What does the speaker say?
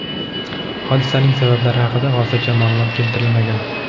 Hodisaning sabablari haqida hozircha ma’lumot keltirilmagan.